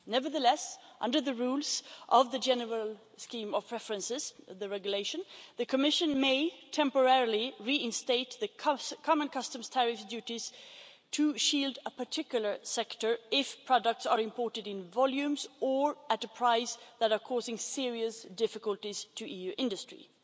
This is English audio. Nevertheless, under the rules of the general scheme of preferences of the regulation, the Commission may, temporarily, reinstate the common customs tariffs duties to shield a particular sector if products are imported in volumes or at a price that are causing serious difficulties to EU industries.